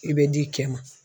I bɛ d'i cɛ ma.